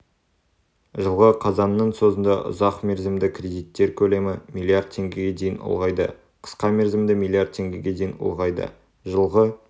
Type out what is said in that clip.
жылғы қазанның соңында ұзақмерзімді кредиттер көлемі млрд теңгеге дейін ұлғайды қысқамерзімді млрд теңгеге дейін ұлғайды жылғы